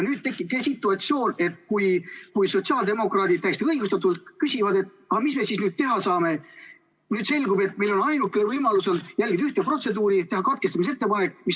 Nüüd tekibki situatsioon, et kui sotsiaaldemokraadid täiesti õigustatult küsivad, et mis me siis nüüd teha saame, selgub, et nende ainukene võimalus on järgida ühte protseduuri – teha katkestamise ettepanek.